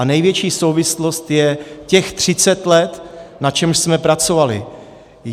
A největší souvislost je těch 30 let, na čemž jsme pracovali.